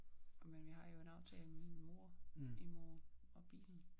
Men vi har jo en aftale med min mor i morgen og bilen